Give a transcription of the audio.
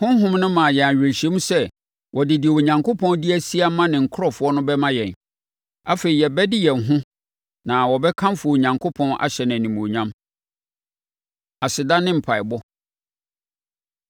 Honhom no ma yɛn awerɛhyɛmu sɛ wɔde deɛ Onyankopɔn de asie ama ne nkurɔfoɔ no bɛma yɛn. Afei, yɛbɛde yɛn ho na wɔbɛkamfo Onyankopɔn ahyɛ no animuonyam. Aseda Ne Mpaeɛbɔ